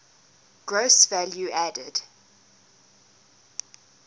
gross value added